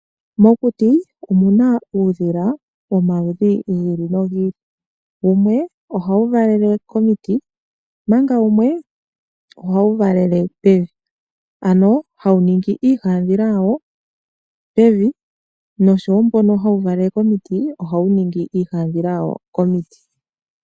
Mokuti omuna uudhila womaludhi gi ili nogi ili, wumwe ohawu valele komiti omanga wumwe oha wu valele pevi. Ano, hawu ningi iihadhila yawo pevi, nosho wo mbono hawu valele komiti ohawu ningi iihadhila yawo komiti.